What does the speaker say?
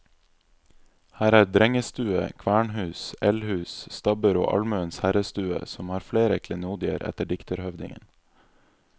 Her er drengestue, kvernhus, eldhus, stabbur og almuens herrestue, som har flere klenodier etter dikterhøvdingen.